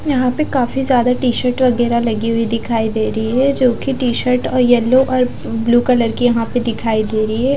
यहाँ पे काफी ज्यादा टी-शर्ट वगैरह लगी हुई दिखाई दे रही है जो की टी-शर्ट येलो और ब्लू कलर की यहाँ पर दिखाई दे रही है।